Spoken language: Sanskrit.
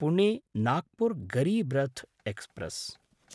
पुणे–नागपुर् गरीब् रथ् एक्स्प्रेस्